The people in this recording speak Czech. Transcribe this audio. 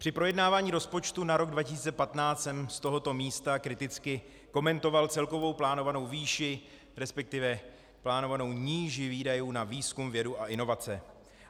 Při projednávání rozpočtu na rok 2015 jsem z tohoto místa kriticky komentoval celkovou plánovanou výši, respektive plánovanou níži výdajů na výzkum, vědu a inovace.